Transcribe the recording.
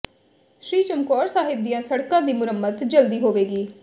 ਸ਼੍ਰੀ ਚਮਕੌਰ ਸਾਹਿਬ ਦੀਆਂ ਸੜਕਾਂ ਦੀ ਮੁਰੰਮਤ ਜਲਦੀ ਹੋਵੇਗੀ